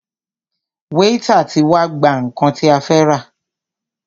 Wáítà tí wá gbà nnkan tí a fẹ́ rà.